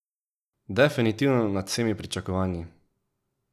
Definitivno nad vsemi pričakovanji!